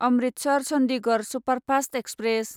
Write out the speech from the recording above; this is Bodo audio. Amritsar Chandigarh superfast express